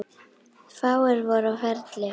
Fáir voru á ferli.